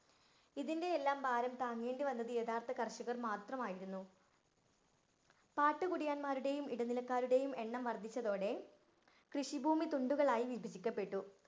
ഇതിന്‍റെയെല്ലാം ഭാരം താങ്ങേണ്ടി വന്നത് യഥാര്‍ത്ഥയ കര്‍ഷകര്‍ മാത്രമായിരുന്നു. പാട്ടു കുടിയന്മാരുടെയും, എടനിലക്കാരുടെയും എണ്ണം വര്‍ദ്ധിച്ചതോടെ കൃഷിഭൂമി തുണ്ടുകളായി വിഭജിക്കപ്പെട്ടു.